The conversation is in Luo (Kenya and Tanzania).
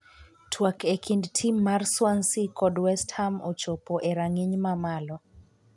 twak e kind tim mar Swansea Kod West ham ochopo e rang'iny mamalo